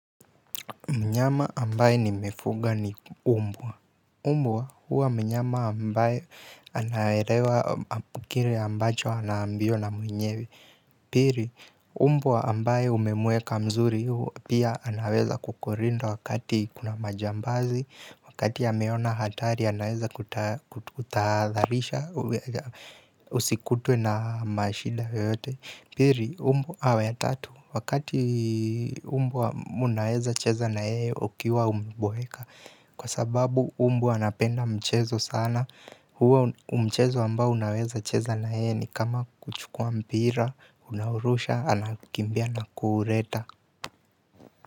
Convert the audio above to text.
Mnyama ambaye ni mefuga ni umbwa. Umbwa huwa mnyama ambaye anaelewa kile ambacho anaambiwa na mwenyewe. Pili, umbwa ambaye umemuweka mzuri pia anaweza kukulinda wakati kuna majambazi. Wakati ameona hatari anaweza kututaadharisha usikutwe na mashida yoyote. Pili umbwa awe ya tatu, wakati umbwa mnaweza cheza naye ukiwa umeboeka kwa sababu umbwa anapenda mchezo sana huo mchezo ambao unaweza cheza naye ni kama kuchukua mpira, unaurusha, anakimbia na kuuleta.